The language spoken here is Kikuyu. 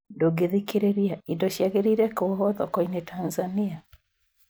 Ndũngĩthikĩrĩria indo ciagĩrĩire kũohwo thoko-inĩ Tanzania?